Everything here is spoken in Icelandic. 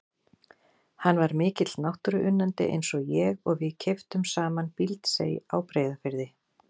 Hann var mikill náttúruunnandi eins og ég og við keyptum saman Bíldsey á Breiðafirði.